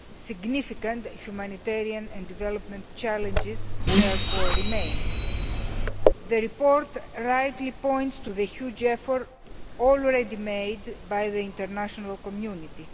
Significant humanitarian and development challenges therefore remain. The report rightly points to the huge effort already made by the international community.